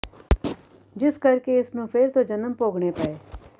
ਜਿਸ ਕਰਕੇ ਇਸ ਨੂੰ ਫ਼ਿਰ ਤੋਂ ਜਨਮ ਭੋਗਣੇ ਪਏ